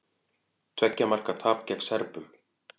Tveggja marka tap gegn Serbum